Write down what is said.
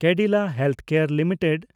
Cadila healthcare limited